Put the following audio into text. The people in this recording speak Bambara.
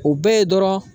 O bɛɛ ye dɔrɔn